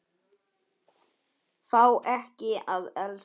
Fá ekki að elska.